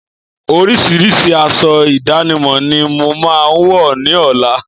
Orísirísi aṣọ ìdánimọ̀ ni mo máa wọ̀ ní ọ̀la